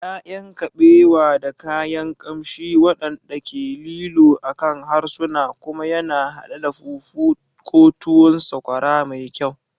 ya'yan kabewa da kayan kamshi waɗanda ke lilo akan harsuna, kuma yana haɗe da fufu ko tuwon sakwara mai kyau.